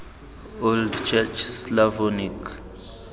old church slavonic